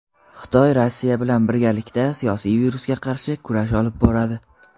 Xitoy Rossiya bilan birgalikda "siyosiy virus"ga qarshi kurash olib boradi.